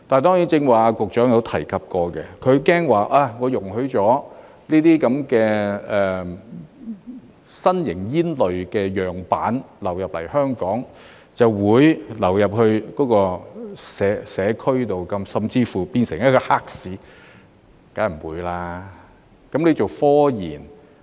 當然，局長剛才也有提及，她害怕容許這些新型煙類樣板流入香港，便會流入社區，甚至乎變成黑市，這個當然不會發生。